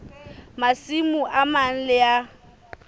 masimo a mang le a